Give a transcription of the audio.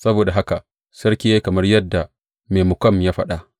Saboda haka sarki ya yi kamar yadda Memukan ya faɗa.